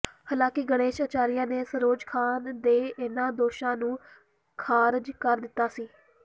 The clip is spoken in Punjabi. ਹਾਲਾਂਕਿ ਗਣੇਸ਼ ਅਚਾਰੀਆ ਨੇ ਸਰੋਜ ਖਾਨ ਦੇ ਇਨ੍ਹਾਂ ਦੋਸ਼ਾਂ ਨੂੰ ਖਾਰਜ ਕਰ ਦਿੱਤਾ ਸੀ